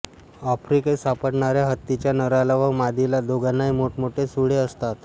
आफ्रिकेत सापडणाऱ्या हत्तीच्या नराला व मादीला दोघांनाही मोठमोठे सुळे असतात